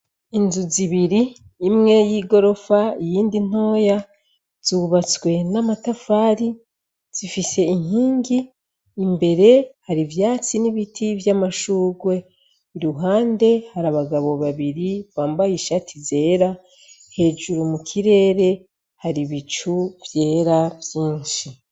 Inzu zibiri imwe y'igorofa iyindi ntoya zubatswe n'amatafari, zifise inkingi, imbere hari ivyatsi n'ibiti vy'amashurwe, iruhande hari abagabo babiri bambaye ishati zera, hejuru mu kirere hari ibicu vyera vyinshi.